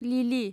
लिलि